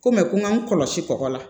Ko mɛ ko n k'an kɔlɔsi kɔkɔ la